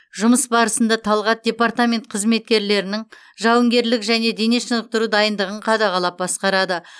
жұмыс барысында талғат департамент қызметкерлерінің жауынгерлік және дене шынықтыру дайындығын қадағалап басқарады